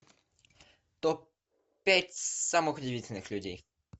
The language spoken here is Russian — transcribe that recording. топ пять самых удивительных людей